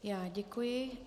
Já děkuji.